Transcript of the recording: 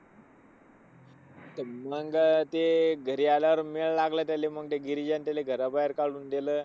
मंग ते घरी आल्यावर वेळ लागला त्याला आणि मग गिरिजाने त्याला घराबाहेर काढून दिलं,